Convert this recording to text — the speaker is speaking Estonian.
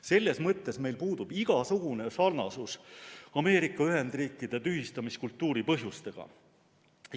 Selles mõttes meil puudub igasugune sarnasus Ameerika Ühendriikide tühistamiskultuuri põhjustega.